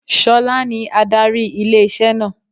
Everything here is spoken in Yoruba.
Ṣọlá ní adarí ilé-iṣẹ́ náà